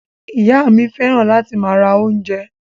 Ìyá mi fẹ́ràn láti máa ra oúnjẹ.